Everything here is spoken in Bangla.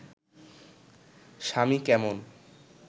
স্বামী কেমন